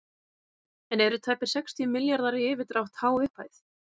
En eru tæpir sextíu milljarðar í yfirdrátt há upphæð?